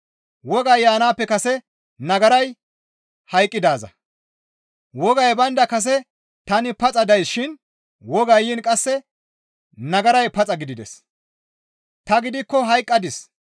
Wogay baynda kase tani paxa dayssishin wogay yiin qasse nagaray paxa gidides; ta gidikko hayqqadis.